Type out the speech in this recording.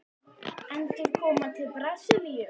Endurkoma til Brasilíu?